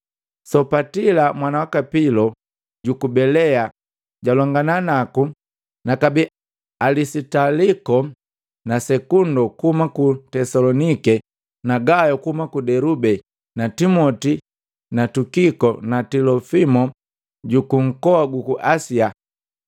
Sopatila mwana waka Pilo juku Belea jwalongana naku nakabee Alisitaliko na Sekundo kuhuma ku Tesolonike na Gayo kuhuma ku Delube na Timoti na Tukiko na Tilofimo jukunkoa guku Asia.